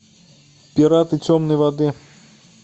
пираты темной воды